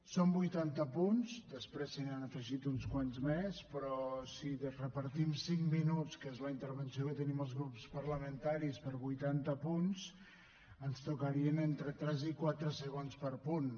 són vuitanta punts després se n’hi han afegit uns quants més però si repartim cinc minuts que és la intervenció que tenim els grups parlamentaris per vuitanta punts ens tocarien entre tres i quatre segons per punt